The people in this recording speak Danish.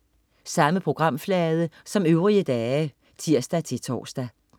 Samme programflade som øvrige dage (tirs-tors)